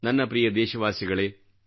ನನ್ನ ಪ್ರಿಯ ದೇಶವಾಸಿಗಳೆ